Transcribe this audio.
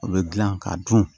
O bɛ dilan k'a dun